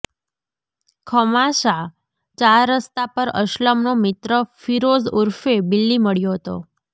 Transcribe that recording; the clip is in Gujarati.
ખમાસા ચાર રસ્તા પર અસ્લમનો મિત્ર ફિરોઝ ઉર્ફે બિલ્લી મળ્યો હતો